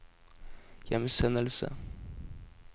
hjemsendelse